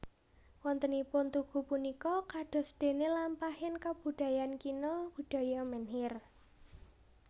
Wontenipun tugu punika kadosdene lampahing kabudayan kina budaya menhir